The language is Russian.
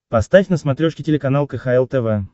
поставь на смотрешке телеканал кхл тв